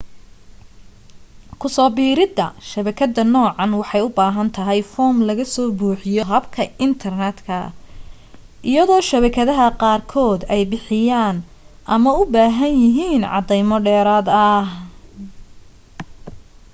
kuso biirida shabakadda noocan waxay u baahan tahay foom laga soo buxiyo habka intarneetka iyado shabakadaha qaar kood ay bixiyaan ama u bahaan yahiin cadeymo dheeraad ah